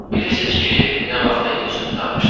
Bilirsiz ki, nə vaxtdı institutu qurtarmışam.